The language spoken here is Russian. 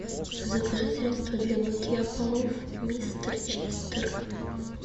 закажи средство для мытья полов мистер чистер